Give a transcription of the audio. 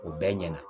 O bɛɛ ɲɛna